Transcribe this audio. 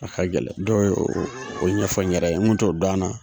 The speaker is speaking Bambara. A ka gɛlɛn dɔw y'o o ɲɛfɔ n yɛrɛ ye n kun t'o dɔn a na